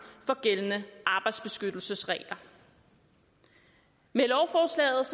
for gældende arbejdsbeskyttelsesregler med lovforslaget